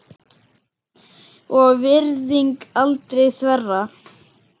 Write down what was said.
og virðing aldrei þverra.